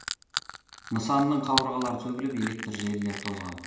нысанның қабырғалары сөгіліп электр желілері тозған